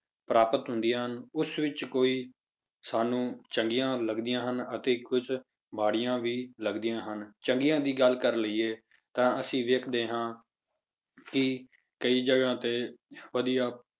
ਪ੍ਰਾਪਤ ਹੁੰਦੀਆਂ ਹਨ ਉਸ ਵਿੱਚ ਕੋਈ ਸਾਨੂੰ ਚੰਗੀਆਂ ਲੱਗਦੀਆਂ ਹਨ ਤੇ ਕੁਛ ਮਾੜੀਆਂ ਵੀ ਲੱਗਦੀਆਂ ਹਨ, ਚੰਗੀਆਂ ਦੀ ਗੱਲ ਕਰ ਲਈਏ ਤਾਂ ਅਸੀਂ ਦੇਖਦੇ ਹਾਂ ਕਿ ਕਈ ਜਗ੍ਹਾ ਤੇ ਵਧੀਆ